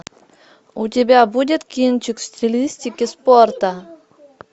у тебя будет кинчик в стилистике спорта